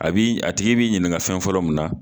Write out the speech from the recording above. A bi a tigi bi ɲininka fɛn fɔlɔ min na